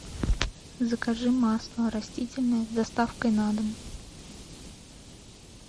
закажи масло растительное с доставкой на дом